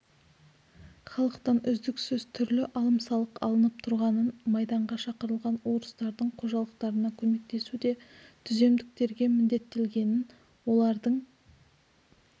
халықтан үздіксіз түрлі алым-салық алынып тұрғанын майданға шақырылған орыстардың қожалықтарына көмектесу де түземдіктерге міндеттелгенін олардың